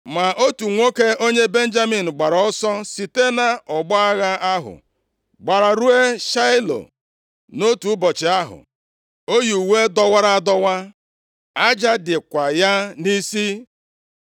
Ma otu nwoke onye Benjamin gbapụrụ ọsọ site nʼọgbọ agha ahụ, gbara ruo Shaịlo nʼotu ụbọchị ahụ, o yi uwe dọwara adọwa, aja dịkwa ya nʼisi.